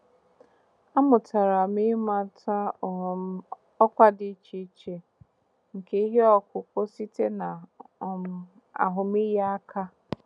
Amụtara m ịmata um ọkwa dị iche iche nke ihe ọkụkụ site na um ahụmịhe aka.